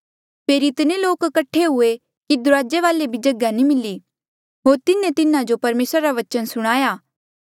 फेरी इतने लोक कठे हुए कि दुराजे वाले भी जगहा नी मिली होर तिन्हें तिन्हा जो परमेसरा रा वचन सुणाया